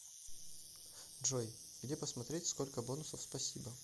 джой где посмотреть сколько бонусов спасибо